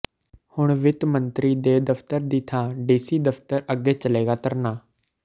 ਹੁਣ ਵਿੱਤ ਮੰਤਰੀ ਦੇ ਦਫ਼ਤਰ ਦੀ ਥਾਂ ਡੀਸੀ ਦਫ਼ਤਰ ਅੱਗੇ ਚੱਲੇਗਾ ਧਰਨਾ